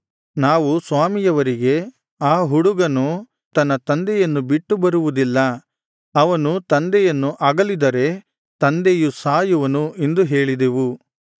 ನಾವು ಸ್ವಾಮಿಯವರಿಗೆ ಆ ಹುಡುಗನು ತನ್ನ ತಂದೆಯನ್ನು ಬಿಟ್ಟು ಬರುವುದಿಲ್ಲ ಅವನು ತಂದೆಯನ್ನು ಅಗಲಿದರೆ ತಂದೆಯು ಸಾಯುವನು ಎಂದು ಹೇಳಿದೆವು